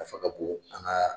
Nafa ka bon an ka.